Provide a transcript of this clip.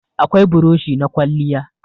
Akwai burushi na kwalliya.